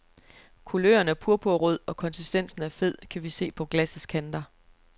Kuløren er purpurrød, og konsistensen er fed, kan vi se på glassets kanter.